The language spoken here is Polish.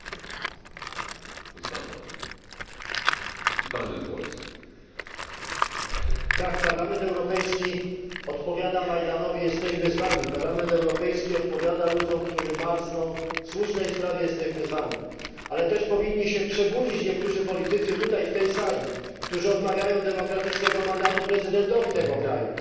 Panie Przewodniczący! Tak Parlament Europejski odpowiada Majdanowi jesteśmy z wami. Parlament Europejski odpowiada ludziom, którzy marzną w słusznej sprawie jesteśmy z wami. Ale też powinni się przebudzić niektórzy politycy na tej sali, którzy odmawiają demokratycznego mandatu prezydentowi tego kraju.